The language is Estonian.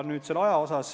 Nüüd selle aja kohta.